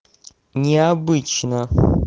необычно